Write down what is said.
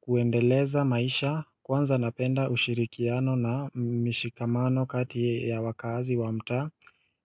kuendeleza maisha kwanza napenda ushirikiano na mishikamano kati ya wakazi wa mtaa